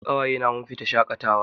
Ni da ƙawaye na mun fita shaƙatawa